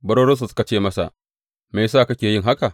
Barorinsa suka ce masa, Me ya sa kake yin haka?